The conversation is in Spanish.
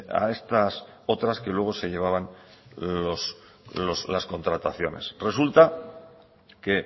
a estas otras que luego se llevaban las contrataciones resulta que